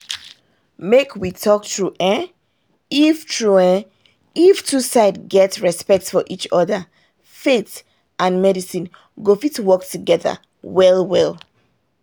make we talk true eh if true eh if dem two side get respect for each other faith and medicine go fit work together well well